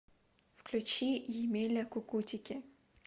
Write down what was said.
включи емеля кукутики